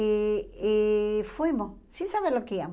E e fomos, sem saber